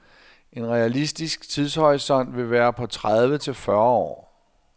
En realistisk tidshorisont vil være på tredive til fyrre år.